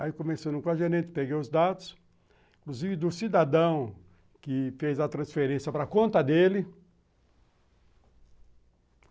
Aí começando com a gerente, peguei os dados, inclusive do cidadão que fez a transferência para conta dele.